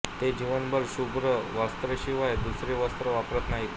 ते जीवनभर शुभ्र वस्त्राशिवाय दुसरे वस्त्र वापरत नाहीत